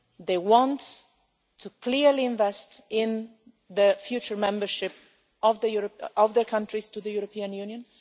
They want to clearly invest in the future membership of their countries in the European Union.